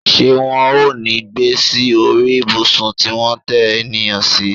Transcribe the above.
Ṣé wọn ò ní gbé sí orí ìbùsùn tí wón ń tẹ ènìyàn sí